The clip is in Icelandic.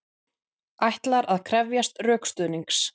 Ætlar að krefjast rökstuðnings